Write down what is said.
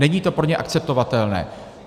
Není to pro ně akceptovatelné.